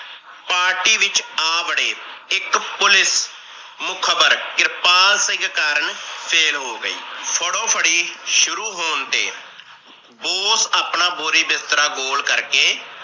Party ਵਿਚ ਆ ਬੜੇ ਇੱਕ ਪੁਲਿਸ ਮੁਖ਼ਬਰ ਕਿਰਪਾਲ ਸਿੰਘ ਕਾਰਨ ਫੇਲ ਹੋ ਗਈ। ਫੜੋ ਫੜੀ ਸ਼ੁਰੂ ਹੋਣ ਤੇ ਬੋਸ ਆਪਣਾ ਬੋਰੀ ਬਿਸਤਰਾ ਗੋਲ ਕਰਕੇ